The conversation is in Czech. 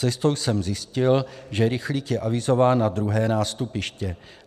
Cestou jsem zjistil, že rychlík je avizován na 2. nástupiště.